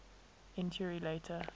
entury later